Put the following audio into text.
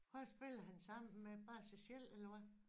Hvad spiller han sammen med bare sig selv eller hvad